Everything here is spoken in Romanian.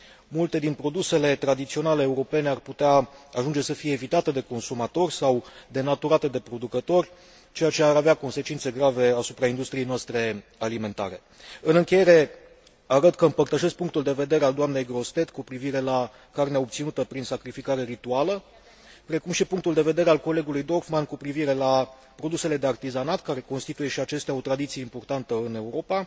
Multe din produsele tradiționale europene ar putea ajunge să fie evitate de consumatori sau denaturate de producători, ceea ce ar avea consecințe grave asupra industriei noastre alimentare. În încheiere, arăt că împărtășesc punctul de vedere al dnei Grossetête cu privire la carnea obținută prin sacrificare rituală, precum și punctul de vedere al colegului Dorfmann cu privire la produsele de artizanat, care constituie și acestea o tradiție importantă în Europa